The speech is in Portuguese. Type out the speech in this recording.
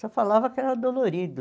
Só falava que era dolorido.